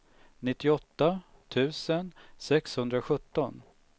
nittioåtta tusen sexhundrasjutton